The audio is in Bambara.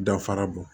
Dafara bɔ